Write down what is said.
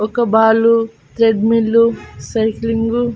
ఒక ball treadmill cycling .